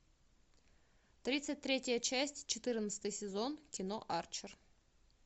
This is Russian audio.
тридцать третья часть четырнадцатый сезон кино арчер